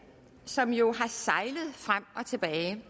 som jo har sejlet frem og tilbage